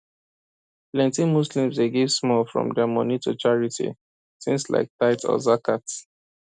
plenty muslims dey give small from their money to charity things like tithe or zakat